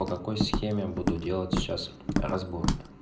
по какой схеме буду делать сейчас разбор